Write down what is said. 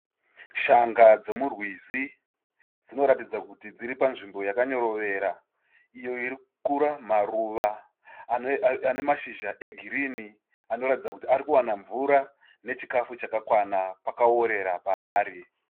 Shanga dzemurwizi dzinoratidza kuti dziri panzvimbo yakanyorovera, iyo iri kukura maruva ane mashizha egirini anoratidza kuti ari kuwana mvura nechikafu chakakwana pakaorera paari.